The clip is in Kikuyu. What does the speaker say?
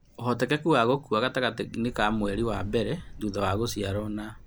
Ũhotekeku wa gũkua gatagatĩ inĩ ka mweri wa mbere thutha wa gũciarwo na